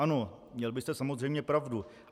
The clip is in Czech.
Ano, měl byste samozřejmě pravdu.